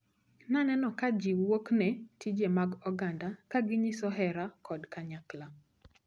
Naneno ka jiwuokne tije mag oganda, kaginyiso hera kod kanyakla.